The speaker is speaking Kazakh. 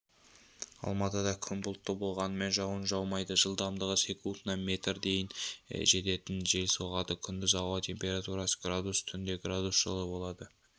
алматыда күн бұлтты болғанымен жауын жаумайды жылдамдығы секундына метрге дейін жететін жел соғады күндіз ауа температурасы градус түнде градус жылы болады